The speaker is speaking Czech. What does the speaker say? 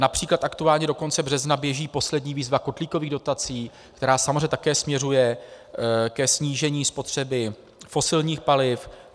Například aktuálně do konce března běží poslední výzva kotlíkových dotací, která samozřejmě také směřuje ke snížení spotřeby fosilních paliv.